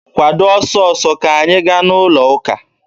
Kwado ọsọ ọsọ, ka anyị gaa n'ụlọ ụka!